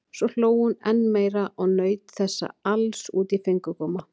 Svo hló hún enn meira og naut þessa alls út í fingurgóma.